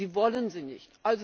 Sie wollen sie nicht.